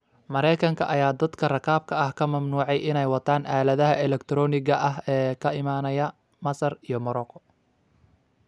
Mareykanka ayaa dadka rakaabka ah ka mamnuucay inay wataan aaladaha elegtarooniga ah ee ka imaanaya Masar iyo Marooko